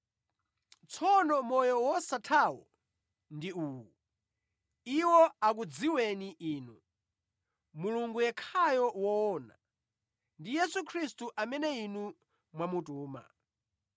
Tsono moyo wosathawo ndi uwu: Iwo akudziweni Inu, Mulungu yekhayo woona, ndi Yesu Khristu, amene Inu mwamutuma.